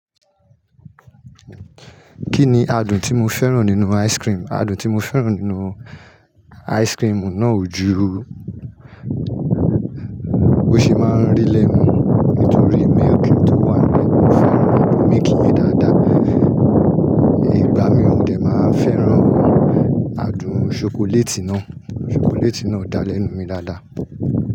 Kí ni adùn tí mo fẹ́ràn nínú ice cream? Adùn tí mo fẹ́ràn nínú ice cream náà ò ju bó ṣe máa ń rí lẹ́nu, nítorí milk tí ó wà lẹ́nu, mo fẹ́ràn adùn milk yìí dáadáa. Ìgbà mìíràn ni màá fẹ́ràn adùn ṣokoléètì náà. Ṣokoléètì náà dá lẹ́nu mi dáadáa.